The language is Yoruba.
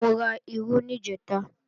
Mo ra irú níjẹ̀ta